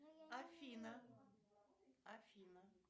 афина афина